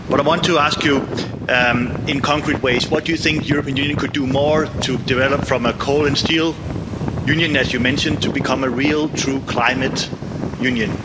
But I want to ask you, in concrete ways, what do you think the European Union could do more to develop from a coal and steel Union, as you mentioned, to become a real, true climate Union?